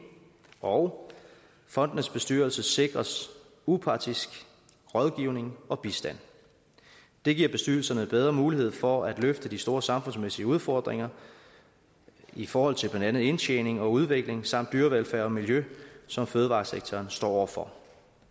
og fondenes bestyrelser sikres upartisk rådgivning og bistand det giver bestyrelserne bedre mulighed for at løfte de store samfundsmæssige udfordringer i forhold til blandt andet indtjening og udvikling samt dyrevelfærd og miljø som fødevaresektoren står over for